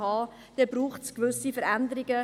Dann braucht es gewisse Veränderungen.